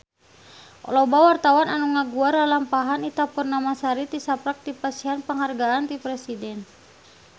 Loba wartawan anu ngaguar lalampahan Ita Purnamasari tisaprak dipasihan panghargaan ti Presiden